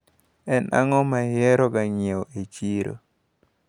En ang`o maihero ga nyiewo e chiro?